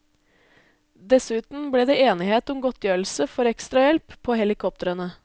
Dessuten ble det enighet om godtgjørelse for ekstrahjelp på helikoptrene.